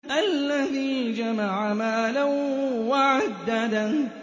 الَّذِي جَمَعَ مَالًا وَعَدَّدَهُ